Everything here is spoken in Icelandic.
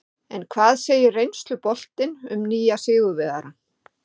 En hvað segir reynsluboltinn um nýja sigurvegarann?